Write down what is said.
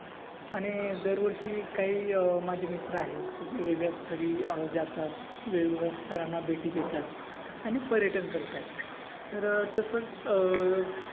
आणि दरवर्षी काही अं माझे मित्र आहेत. काही वेगळ्या स्थळी अं जातात. वेगवेगळ्या स्थळांना भेटी देतात आणि पर्यटन करतात. तर तसेच अं